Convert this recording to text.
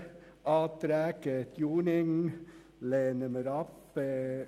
Die Anträge Dunning lehnen wir ab.